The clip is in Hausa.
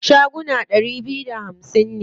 Shagunan ɗari biyu da hamsin ne.